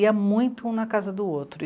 Ia muito um na casa do outro.